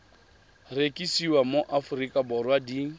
rekisiwa mo aforika borwa di